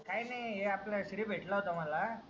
काही नाही हे आपणा श्री भेटला होता माला.